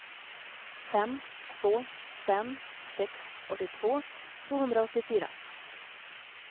fem två fem sex åttiotvå tvåhundraåttiofyra